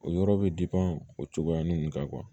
O yɔrɔ bɛ o cogoya ninnu kan